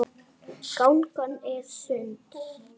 Gangan er sund.